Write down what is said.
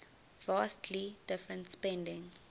vastly different spending